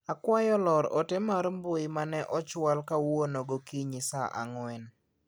Akwayo ior ote mar mbui mane ochwal kawuono gokinyi saa ang'wen